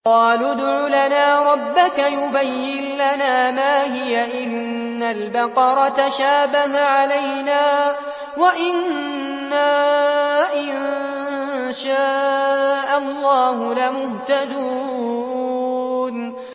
قَالُوا ادْعُ لَنَا رَبَّكَ يُبَيِّن لَّنَا مَا هِيَ إِنَّ الْبَقَرَ تَشَابَهَ عَلَيْنَا وَإِنَّا إِن شَاءَ اللَّهُ لَمُهْتَدُونَ